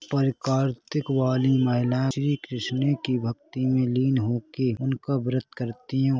परिकार्तिक वाली महिला श्री कृष्ण की भक्ति में लिन होके उनका व्रत करती है।